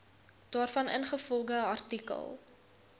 daarvan ingevolge artikel